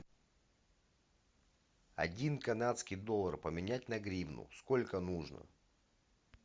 один канадский доллар поменять на гривну сколько нужно